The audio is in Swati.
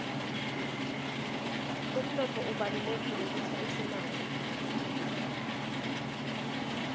umnotfo ubalulekile kutsi usimame